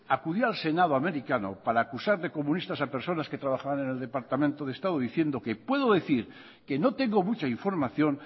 acudió al senado americano para acusar de comunistas a personas que trabajaban en el departamento de estado diciendo que puedo decir que no tengo mucha información